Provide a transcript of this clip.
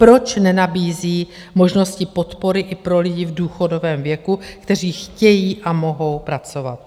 Proč nenabízí možnosti podpory i pro lidi v důchodovém věku, kteří chtějí a mohou pracovat?